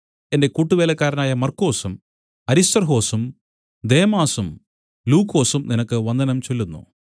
എന്റെ കൂട്ടുവേലക്കാരനായ മർക്കൊസും അരിസ്തർഹൊസും ദേമാസും ലൂക്കോസും നിനക്ക് വന്ദനം ചൊല്ലുന്നു